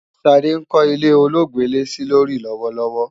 Ṣadé ń kọ́ ilé ọlọ́gbẹ́lẹ́-sílórí lọ́wọ́lọ́wọ́